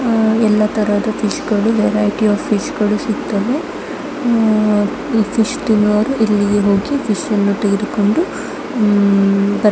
ಹ್ಮ್ ಎಲ್ಲ ತರದ ಫಿಶ್ ಗಳು ವೆರೈಟಿ ಆಫ್ ಫಿಶ್ ಗಳು ಸಿಗ್ತವೆ ಹಮ್ ಈ ಫಿಶ್ ತಿನ್ನುವವರು ಇಲ್ಲಿಗೆ ಹೋಗಿ ಫಿಶ್ ನ್ನು ತೆಗೆದುಕೊಂಡು ಹಮ್--